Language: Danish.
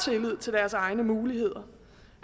tillid til deres egne muligheder